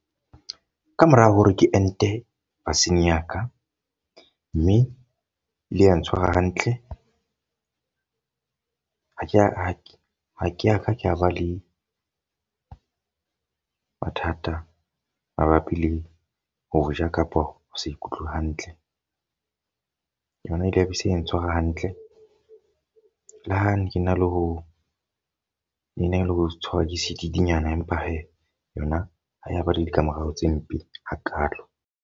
Ka mora hore ke ente vaccine ya ka. Mme le ya ntshwara hantle. Ha ke, ha ke ya ka ka ba le mathata mabapi le ho ja kapa ho sa ikutlwe hantle. Yona e ile ya be se ya ntshwara hantle. Le ha ne ke na le ho ke na le ho tshwarwa sedidinyana empa he yona ha e bile le ditlamorao tse mpe hakalo.